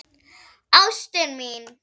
Ástin mín